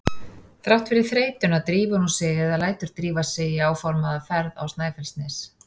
Þrátt fyrir þreytuna drífur hún sig eða lætur drífa sig í áformaða ferð á Snæfellsnes.